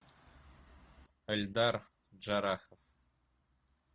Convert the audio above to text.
эльдар джарахов